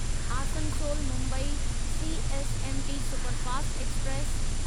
Asansol Mumbai CSMT superfast express